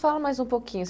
Fala mais um pouquinho.